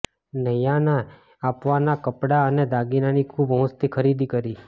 નૈયાને આપવાનાં કપડાં અને દાગીનાની ખૂબ હોંશથી ખરીદી કરી